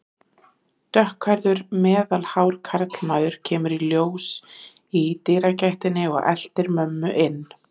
Dökkhærður, meðalhár karlmaður kemur í ljós í dyragættinni og eltir mömmu inn.